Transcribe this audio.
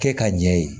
Kɛ ka ɲɛ ye